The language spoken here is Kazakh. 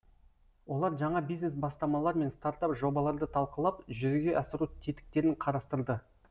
олар жаңа бизнес бастамалар мен стартап жобаларды талқылап жүзеге асыру тетіктерін қарастырды